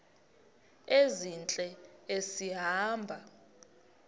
ezintle esi hamba